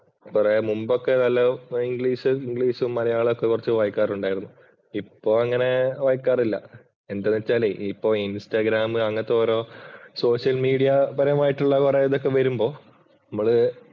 പറയാം മുമ്പൊക്കെ ഇംഗ്ലീഷ്, മലയാളം ഒക്കെ കുറച്ച് വായിക്കാറുണ്ടായിരുന്നു. ഇപ്പൊ അങ്ങനെ വായിക്കാറില്ല. എന്ത് വച്ചാല് ഇപ്പോഴ് ഇന്‍സ്റ്റാഗ്രാമ് അങ്ങനത്തെ ഒരുസോഷ്യല്‍ മീഡിയാപരമായിട്ടുള്ള കുറെ ഇതൊക്കെ വരുമ്പോൾ നമ്മള്